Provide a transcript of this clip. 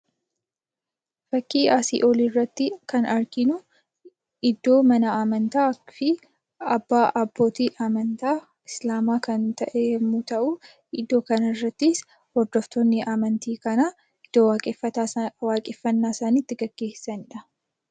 Fakkii asii olii irratti kan arginu iddoo mana amantaa fi abbaa, abbootii amantaa Islaamaa kan ta'e yemmuu ta'u, iddoo kana irrattis hordoftoonni amantii kanaa waaqeffannaa isaanii itti gaggeessaniidha.